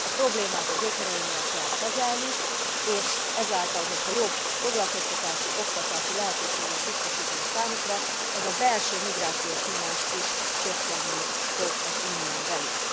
A problémát a gyökereinél kell kezelni, és ezáltal, hogyha jobb foglalkoztatási, oktatási lehetőséget biztosítunk számukra, ez a belső migrációs nyomás is csökkenni fog az Unión belül.